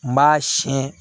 N b'a siyɛn